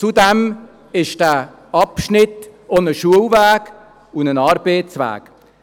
Zudem ist dieser Abschnitt auch ein Schul- und Arbeitsweg.